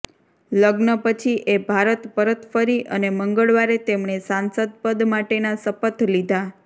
લગ્ન પછી એ ભારત પરત ફરી અને મંગળવારે તેમણે સાંસદ પદ માટેના શપથ લીધા